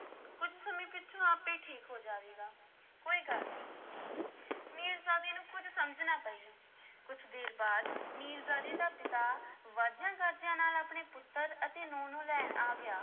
ਕੁਝ ਸਮੇਂ ਪਿੱਛੋਂ ਆਪੇ ਹੀ ਠੀਕ ਹੋ ਜਾਵੇਗਾ, ਕੋਈ ਗੱਲ ਨੀ ਮੀਰਜ਼ਾਦੇ ਨੂੰ ਕੁਝ ਸਮਝ ਨਾ ਪਈ, ਕੁਝ ਦੇਰ ਬਾਅਦ ਮੀਰਜ਼ਾਦੇ ਦਾ ਪਿਤਾ ਵਾਜਿਆਂ-ਗਾਜਿਆਂ ਨਾਲ ਆਪਣੇ ਪੁੱਤਰ ਅਤੇ ਨੂੰਹ ਨੂੰ ਲੈਣ ਆ ਗਿਆ।